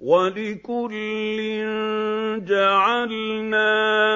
وَلِكُلٍّ جَعَلْنَا